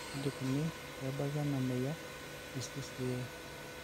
kaji ikoni pee ebaki ena moyian e CCA?